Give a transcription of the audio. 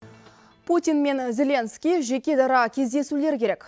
путин мен зеленский жеке дара кездесулері керек